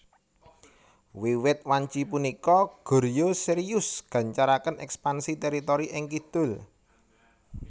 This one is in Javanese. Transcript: Wiwit wanci punika Goryeo serius gancaraken ekpansi teritori ing kidul